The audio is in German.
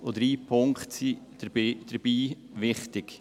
Drei Punkte sind dabei wichtig: